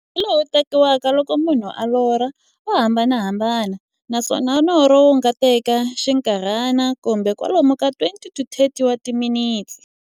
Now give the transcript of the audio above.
Nkarhi lowu tekiwaka loko munhu a lorha, wa hambanahambana, naswona norho wu nga teka xinkarhana, kumbe kwalomu ka 20-30 wa timinete.